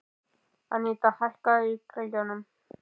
Anita, hækkaðu í græjunum.